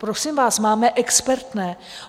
Prosím vás, máme expertné.